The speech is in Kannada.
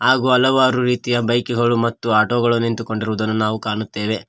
ಹಾಗು ಹಲವಾರು ರೀತಿಯ ಬೈಕುಗಳು ಮತ್ತು ಆಟೋ ಗಳು ನಿಂತುಕೊಂಡಿರುವುದನ್ನು ನಾವು ಕಾಣುತ್ತೇವೆ.